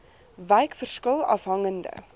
wyk verskil afhangende